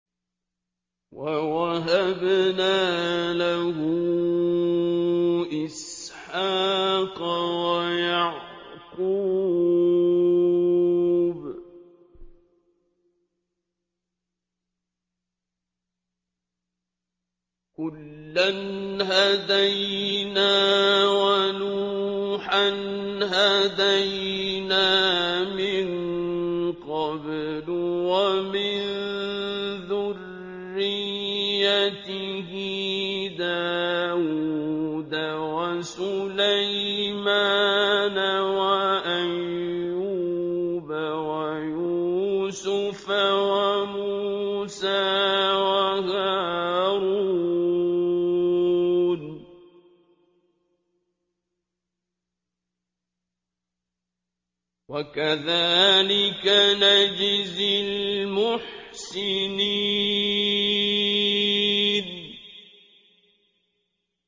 وَوَهَبْنَا لَهُ إِسْحَاقَ وَيَعْقُوبَ ۚ كُلًّا هَدَيْنَا ۚ وَنُوحًا هَدَيْنَا مِن قَبْلُ ۖ وَمِن ذُرِّيَّتِهِ دَاوُودَ وَسُلَيْمَانَ وَأَيُّوبَ وَيُوسُفَ وَمُوسَىٰ وَهَارُونَ ۚ وَكَذَٰلِكَ نَجْزِي الْمُحْسِنِينَ